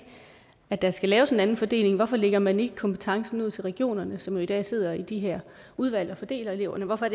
at der skal laves en anden fordeling hvorfor lægger man så ikke kompetencen ud til regionerne som jo i dag sidder i de her udvalg og fordeler eleverne hvorfor